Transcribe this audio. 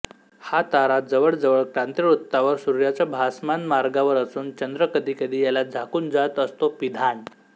हा तारा जवळजवळ क्रांतिवृत्तावर सूर्याच्या भासमान मार्गावर असून चंद्र कधीकधी याला झाकून जात असतो पिधान